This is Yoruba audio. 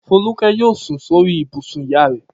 Folúkẹ́ yóò sùn sórí ibùsùn ìyá rẹ̀.